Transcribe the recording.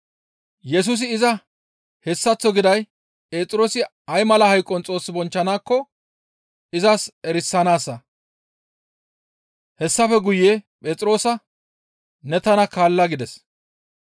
Yesusi iza hessaththo giday Phexroosi ay mala hayqon Xoos bonchchanaakko izas erisanaassa; hessafe guye Phexroosa, «Ne tana kaalla» gides.